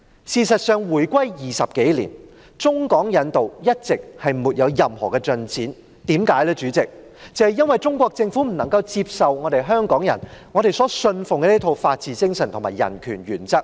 事實上，回歸20多年，中港引渡一直沒有任何進展，因為中國政府不能接受香港人所信奉的一套法治精神和人權原則。